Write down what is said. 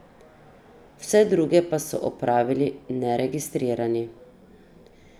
Vse druge pa so opravili neregistrirani.